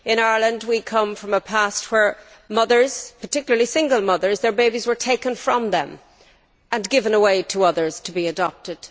In Ireland, we come from a past where mothers particularly single mothers had their babies taken from them and given away to others to be adopted.